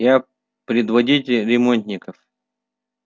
я предводитель ремонтников